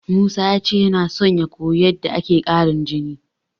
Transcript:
Musa ya ce yana son ya koyi yadda ake ƙarin jini.